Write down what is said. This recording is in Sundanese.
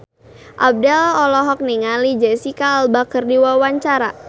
Abdel olohok ningali Jesicca Alba keur diwawancara